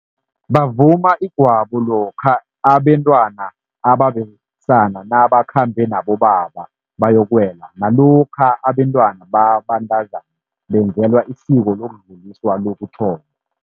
Bavuma igwabo lokha abentwana ababesana nabakhambe nabobaba bayokuwela, nalokha abentwana babantazana benzelwa isiko lokudluliswa lokuthomba.